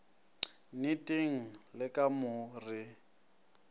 nneteng le ka mo re